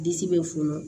Disi bɛ funu